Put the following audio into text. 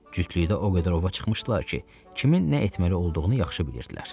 Cütlükdə o qədər ova çıxmışdılar ki, kimin nə etməli olduğunu yaxşı bilirdilər.